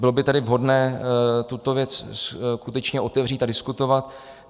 Bylo by tedy vhodné tuto věc skutečně otevřít a diskutovat.